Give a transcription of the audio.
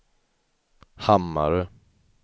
Hammarö